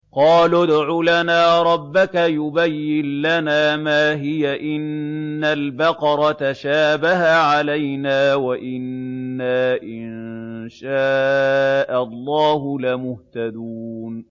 قَالُوا ادْعُ لَنَا رَبَّكَ يُبَيِّن لَّنَا مَا هِيَ إِنَّ الْبَقَرَ تَشَابَهَ عَلَيْنَا وَإِنَّا إِن شَاءَ اللَّهُ لَمُهْتَدُونَ